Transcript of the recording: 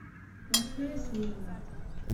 ночная смена